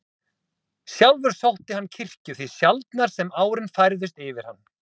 Sjálfur sótti hann kirkju því sjaldnar sem árin færðust yfir hann.